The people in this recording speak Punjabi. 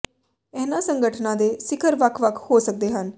ਇਹਨਾਂ ਸੰਗਠਨਾਂ ਦੇ ਸਿਖਰ ਵੱਖ ਵੱਖ ਹੋ ਸਕਦੇ ਹਨ